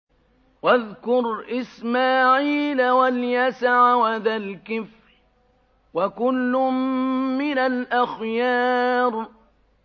وَاذْكُرْ إِسْمَاعِيلَ وَالْيَسَعَ وَذَا الْكِفْلِ ۖ وَكُلٌّ مِّنَ الْأَخْيَارِ